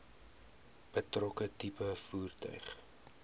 betrokke tipe voertuig